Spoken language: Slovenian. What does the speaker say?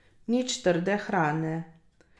Nič trde hrane.